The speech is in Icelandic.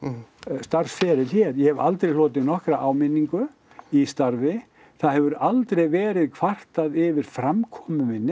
starfsferil hér ég hef aldrei hlotið nokkra áminningu í starfi það hefur aldrei verið kvartað yfir framkomu minni